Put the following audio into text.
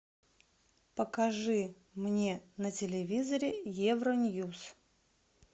покажи мне на телевизоре евроньюс